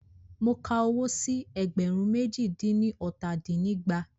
Mo ka owó sí ẹgbẹ̀rún méjì dín ní ọta dín ní ẹgbàá.